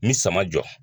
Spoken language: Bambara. N bi sama jɔ